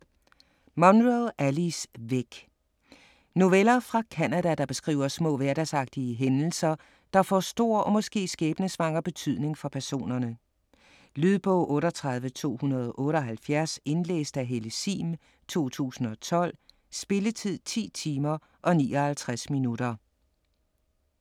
Munro, Alice: Væk Noveller fra Canada, der beskriver små hverdagsagtige hændelser, der får stor og måske skæbnesvanger betydning for personerne. Lydbog 38278 Indlæst af Helle Sihm, 2012. Spilletid: 10 timer, 59 minutter.